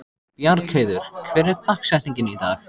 Bjargheiður, hver er dagsetningin í dag?